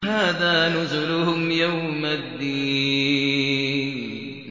هَٰذَا نُزُلُهُمْ يَوْمَ الدِّينِ